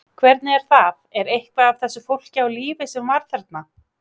Hvernig er það, er eitthvað af þessu fólki á lífi sem var þarna?